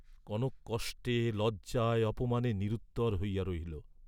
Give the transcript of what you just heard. কনক কষ্টে লজ্জায় অপমানে নিরুত্তর হইয়া রহিল।